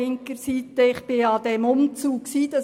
Ich habe an diesem Umzug teilgenommen.